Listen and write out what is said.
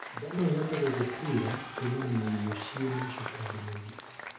Ndaa noĩhote gugutuura kumana na irio ciĩna cukari mũingĩ